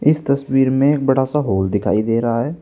इस तस्वीर में एक बड़ा सा हॉल दिखाई दे रहा है।